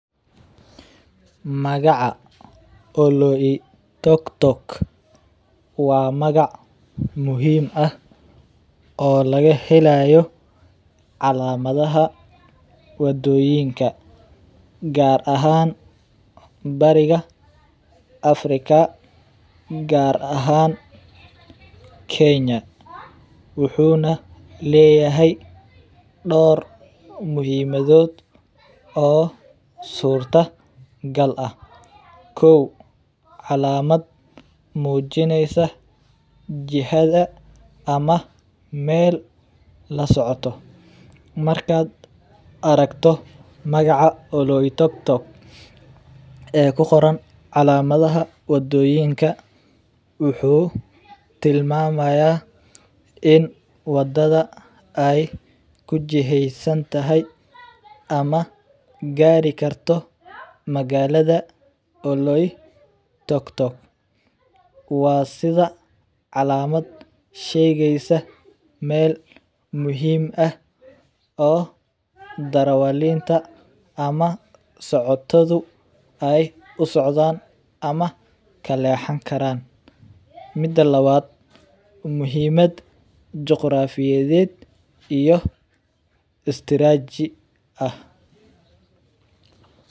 Magaca oloitoktok wa magac muxiim ah oo lagahelayo calamadaha wadoyinka gaar ahan, bariiga africa gaar ahan kenya, wuxuna leyahay door muxiimadod oo surta gal ah kow calamad mujinaysa jihada ama mel lasocoto, markad aragto magaca oloitoktok ee kugoran calamadaha wadoyinka wuxu tilmamaya in wadada ay kujiheysantahay ama garii karto magalada oloitoktok, wa sidh calamad shegeysa mel muxiim ah oo darawalinta ama socotadu ay usocdaan ama kalehan karaan, mida lawad muxiimad jegrofadiyed iyo istiraji ah.